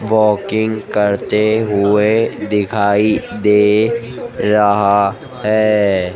Walking करते हुए दिखाई दे रहा है।